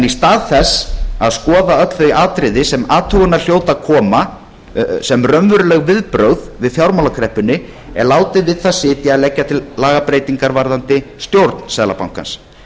í stað þess að skoða öll þau atriði sem til athugunar hljóta að koma sem raunveruleg viðbrögð við fjármálakreppunni er látið við það sitja að leggja til lagabreytingar varðandi stjórn seðlabankans